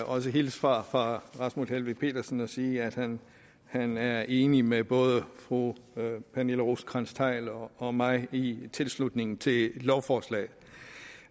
også hilse fra herre rasmus helveg petersen og sige at han han er enig med både fru pernille rosenkrantz theil og og mig i tilslutningen til lovforslaget